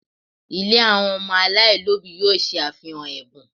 Ilé àwọn ọmọ aláìlóbìí yóò ṣe àfihàn ẹ̀bùn